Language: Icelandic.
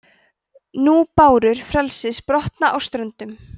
nú bárur frelsis brotna á ströndum